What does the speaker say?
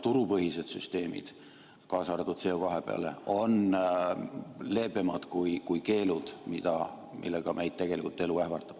Turupõhised süsteemid, kaasa arvatud CO2 omad, on leebemad kui keelud, millega meid elu tegelikult ähvardab.